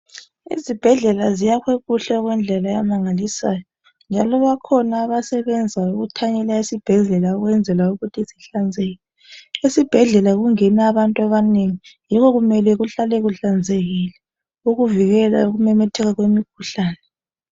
Izibhedlela ziyakhiwe kuhle okwendlela emangalisayo njalo bakhona abasebenza ukuthanyela esibhedlela ukwenzela ukuthi sihlanzeke esibhedlela kungena abantu abanengi yikho kumele kuhlale kuhlanzekile ukuvikela ukumemetheka kwemikhuhlane.